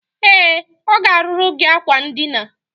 E, o ga-aruru gi akwa ndina.